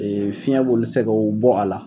Ee fiɲɛ b'olu sɛgɛw bɔ a la.